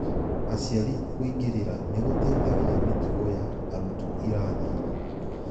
Aciari kũingĩrĩra nĩgũteithagia mĩtugo ya arutwoirathinĩ